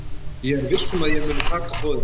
Ég er viss um að ég mun taka boðinu.